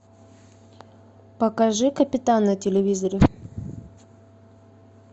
покажи капитан на телевизоре